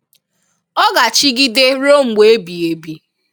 Ọ ga chìgìdè ruo mgbe ebì ebì.